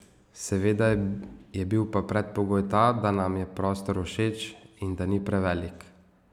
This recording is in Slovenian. Seveda je bil pa predpogoj ta, da nam je prostor všeč in da ni prevelik.